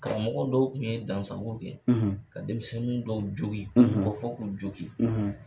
Karamɔgɔ dɔw kun ye dansago kɛ ka denmisɛnnin dɔw jogin fɔ k'u jogin.